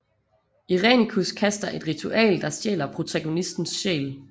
Irenicus kaster et ritual der stjæler protagonistens sjæl